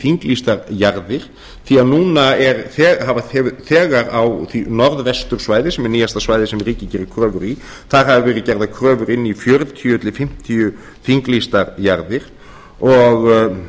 þinglýstar jarðir því núna hefur þegar á því norðvestursvæði sem er nýjasta svæðið sem ríkið gerir kröfur í þar hafa verið gerðar kröfur inn í fjörutíu til fimmtíu þinglýstar jarðir og